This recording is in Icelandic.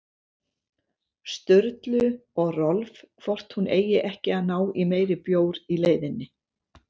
Sturlu og Rolf hvort hún eigi ekki að ná í meiri bjór í leiðinni.